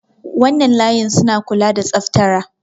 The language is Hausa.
wannan layin suna kula da tsaftara